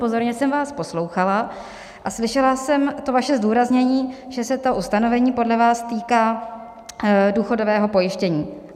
Pozorně jsem vás poslouchala a slyšela jsem to vaše zdůraznění, že se to ustanovení podle vás týká důchodového pojištění.